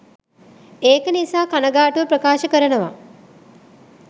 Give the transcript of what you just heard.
ඒක නිසා කනගාටුව ප්‍රකාශ කරනවා